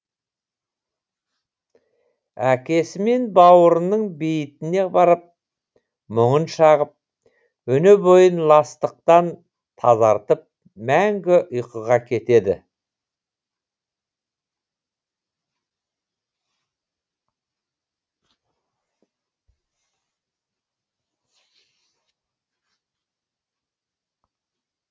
әкесі мен бауырының бейітіне барып мұңын шағып өне бойын ластықтан тазартып мәңгі ұйқыға кетеді